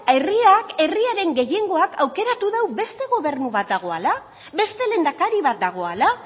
herriak herriaren gehiengoak aukeratu dau beste gobernu badagoela beste lehendakari bat dagoela